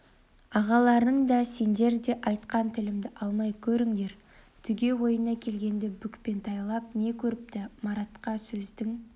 ағаларың да сеңдер де айтқан тілімді алмай көріңдер түге ойына келгеңді бүкпентайлап не көрініпті маратқа сөздің